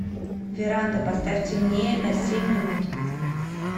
веранда поставь темнее на семь минут